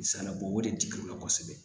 Misalibɔ o de dir'u ma kosɛbɛ